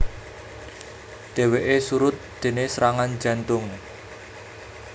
Dhèwèké surut déné serangan jantung